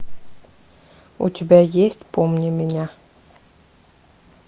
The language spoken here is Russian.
у тебя есть помни меня